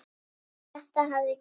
Hjartað hafði gefið sig.